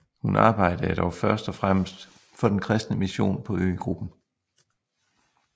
Hun arbejdede dog først og fremmest for den kristne mission på øgruppen